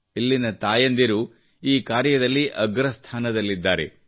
ಇಲ್ಲಿನ ತಾಯಂದಿರು ಈ ಕಾರ್ಯದಲ್ಲಿ ಅಗ್ರಸ್ಥಾನದ್ಲಲಿದ್ದಾರೆ